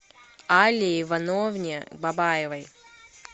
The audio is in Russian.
алле ивановне бабаевой